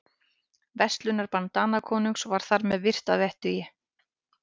Verslunarbann Danakonungs var þar með virt að vettugi.